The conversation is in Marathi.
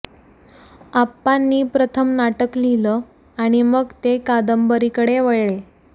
आप्पांनी प्रथम नाटक लिहिलं आणि मग ते कादंबरीकडे वळले